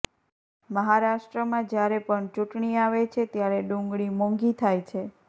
મહારાષ્ટ્રમાં જયારે પણ ચૂંટણી આવે છે ત્યારે ડુંગળી મોંઘી થાય છે